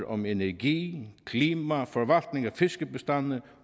om energi klima forvaltning af fiskebestande